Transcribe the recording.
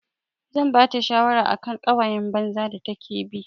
Zan bata shawara akan ƙawayan banza da take bi.